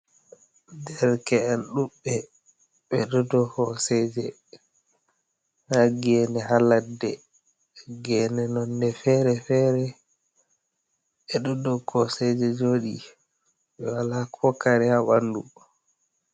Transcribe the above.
Derke’en ɗuɓbe ɓe dou hoseje ha gene ha ladde, gene nonde fere fere, ɓeɗo dou koseje joɗi, ɓe wala ko kare ha ɓanɗu maɓɓe.